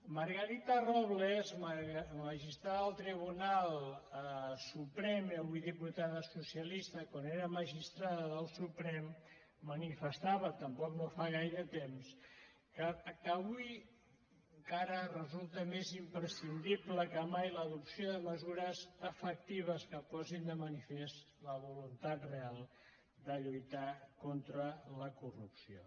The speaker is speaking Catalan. margarita robles magistrada del tribunal suprem i avui diputada socialista quan era magistrada del suprem manifestava tampoc no fa gaire temps que avui encara resulta més imprescindible que mai l’adopció de mesures efectives que posin de manifest la voluntat real de lluitar contra la corrupció